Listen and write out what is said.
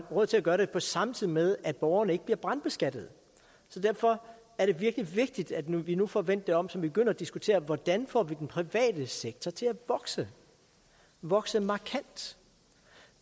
råd til at gøre det samtidig med at borgerne ikke bliver brandbeskattet derfor er det virkelig vigtigt at vi nu får vendt det om så vi begynder at diskutere hvordan vi får den private sektor til at vokse vokse markant